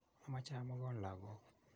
amache amogon lakok.